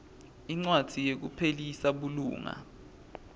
incwadzi yekuphelisa bulunga